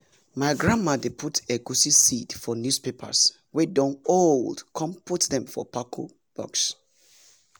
my grandmama dey put egusi seed for newspapers wey don old con put dem for pako box